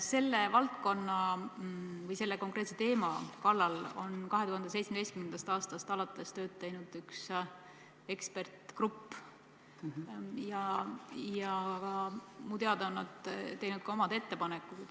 Selle valdkonna või selle konkreetse teema kallal on 2017. aastast alates tööd teinud üks eksperdigrupp ja minu teada on nad teinud ka omad ettepanekud.